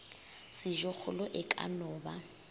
sejokgolo e ka no ba